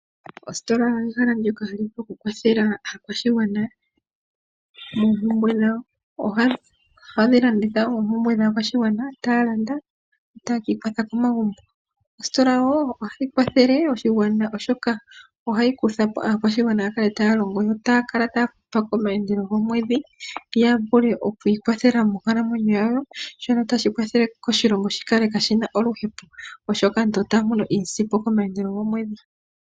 Ositola ehala ndyoka hali vulu okukwathela aakwashigwana moompumbwe dhawo. Ohadhi landitha oompumbwe dhaakwashigwana, taya landa yo taya kiikwatha komagumbo. Ositola wo ohayi kwathele oshigwana oshoka ohayi kuthapo aakwashigwana ya kale taa longo yo otaa kala taa futwa komaandelo gomwedhi, ya vule okwiikwathela moonkalamweyo dhawo shono tashi kwathele oshilongo shi kale kashi na oluhepo. Oshoka aantu otaa mono iisimpo komaandelo gomwedhi.